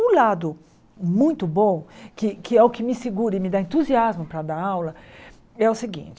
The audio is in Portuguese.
Um lado muito bom, que que é o que me segura e me dá entusiasmo para dar aula, é o seguinte.